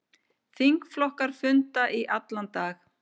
Þingflokkar funda í allan dag